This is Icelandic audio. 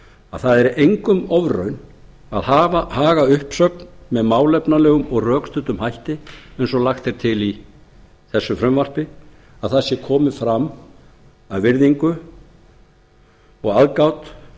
að það er engum ofraun að haga uppsögn með málefnalegum og rökstuddum hætti eins og lagt er til í frumvarpi þessu að það sé komið fram af aðgát og virðingu